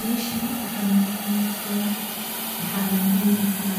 Meshan mxa noqa muqda